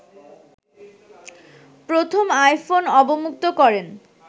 প্রথম আইফোন অবমুক্ত করেন